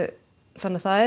þannig að það er